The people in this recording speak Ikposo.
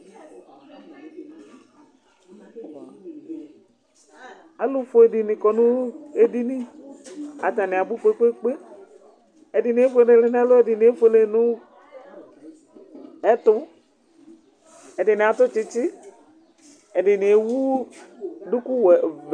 alu fue dini kɔ nu edini, ata ni abu kpekpekpe, ɛdini efuele nu ɛlu, ɛdini efuele nu ɛtu, ɛdini atu tsitsi, ɛdini ewu duku wɛ, vɛ